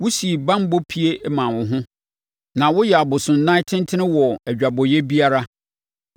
wosii banbɔ pie maa wo ho, na woyɛɛ abosonnan tentene wɔ adwabɔeɛ biara.